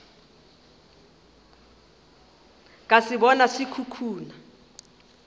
ka se bona se khukhuna